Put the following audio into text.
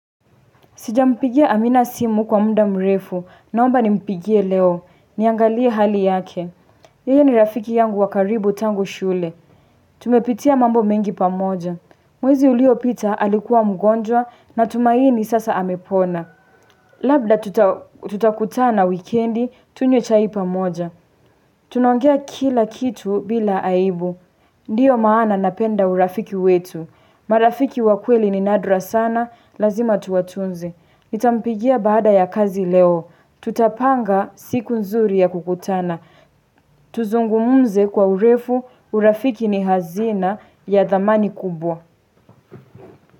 Sijampigia amina simu kwa muda mrefu, naomba nimpigie leo. Niangalie hali yake. Yeye ni rafiki yangu wa karibu tangu shule. Tumepitia mambo mengi pamoja. Mwezi uliopita alikuwa mgonjwa na tumaini sasa amepona. Labda tutakutana wikendi, tunywe chai pamoja. Tunaongea kila kitu bila aibu. Ndiyo maana napenda urafiki wetu. Marafiki wa kweli ni nadra sana, lazima tuwatunze. Nitampigia baada ya kazi leo, tutapanga siku nzuri ya kukutana Tuzungumuze kwa urefu urafiki ni hazina ya dhamani kubwa.